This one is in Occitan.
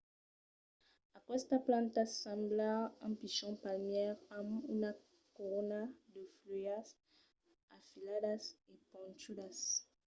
aquestas plantas semblan un pichon palmièr amb una corona de fuèlhas afiladas e ponchudas